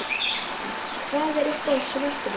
Kristjana: Hvað er uppáhalds sveppurinn þinn?